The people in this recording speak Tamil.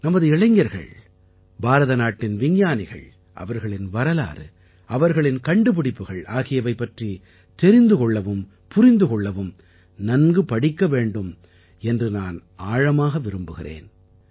நமது இளைஞர்கள் பாரதநாட்டின் விஞ்ஞானிகள் அவர்களின் வரலாறு அவர்களின் கண்டுபிடிப்புகள் ஆகியவை பற்றித் தெரிந்து கொள்ளவும் புரிந்து கொள்ளவும் நன்கு படிக்க வேண்டும் என்று நான் ஆழமாக விரும்புகிறேன்